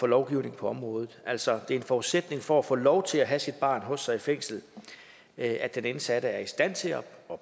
lovgivningen på området altså det er en forudsætning for at få lov til at have sit barn hos sig i fængslet at den indsatte er i stand til at